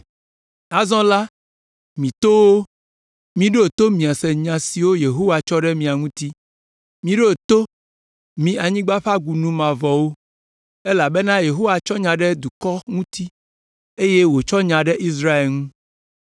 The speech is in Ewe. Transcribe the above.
“Azɔ la, mi towo, miɖo to miase nya siwo Yehowa tsɔ ɖe mia ŋuti. Miɖo to, mi anyigba ƒe agunu mavɔwo, elabena Yehowa tsɔ nya ɖe eƒe dukɔ ŋuti eye wòtsɔ nya ɖe Israel ŋu.